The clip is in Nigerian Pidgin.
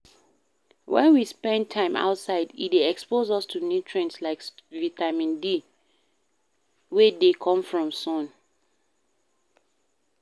When we spend time outside e dey expose us to nutrient like vitamine D wey dey come from sun